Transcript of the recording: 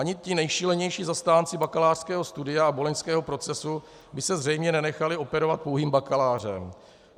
Ani ti nejšílenější zastánci bakalářského studia a boloňského procesu by se zřejmě nenechali operovat pouhým bakalářem.